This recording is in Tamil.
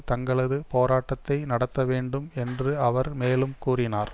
தங்களது போராட்டத்தை நடத்த வேண்டும் என்று அவர் மேலும் கூறினார்